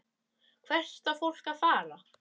Hvert á fólk að fara?